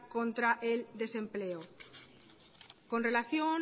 contra el desempleo con relación